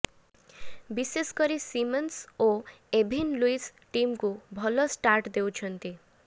ବିଶେଷକରି ସିମନ୍ସ ଓ Evin Lewis ଟିମକୁ ଭଲ ଷ୍ଟାର୍ଟ ଦେଉଛନ୍ତି